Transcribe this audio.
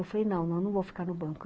Eu falei, não, não vou ficar no banco.